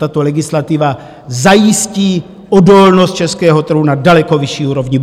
Tato legislativa zajistí odolnost českého trhu na daleko vyšší úrovni.